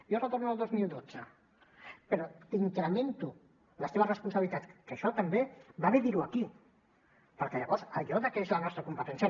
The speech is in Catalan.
jo retorno al dos mil dotze però t’incremento les teves responsabilitats que això també va bé dir ho aquí perquè llavors allò de que és la nostra competència